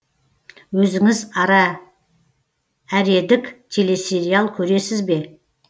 өзіңіз әредік телесериал көресіз бе